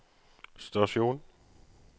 stasjon